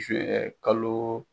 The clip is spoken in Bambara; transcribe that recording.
Zuwɛn kalo.